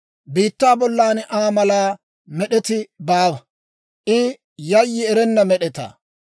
Biittaa bollan Aa mala med'eti baawa; I yayyi erenna med'etaa.